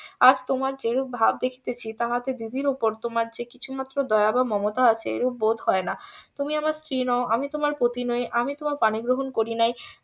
আর তোমার যেরূপ ভাব দেখিতেছি তাহাতে দিদির ওপর তোমার যে কিছু মাত্র দয়া বা মমতা আছে এরূপ বোধ হয় না তুমি আমার স্ত্রী নও আমি তোমার পতি নোই আমি তোমার পানি গ্রহণ করি নাই